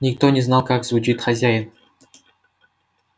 никто не знал как звучит хозяин